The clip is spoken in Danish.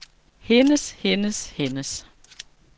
hendes hendes hendes